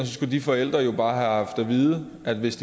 skulle de forældre jo bare have vide at hvis